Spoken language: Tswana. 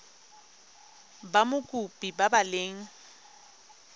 ba mokopi ba ba leng